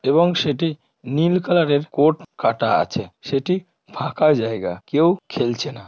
এবং সেটি নীল কালার -এর কোট কাটা আছে। সেটি ফাঁকা জায়গা। কেউ খেলছে না।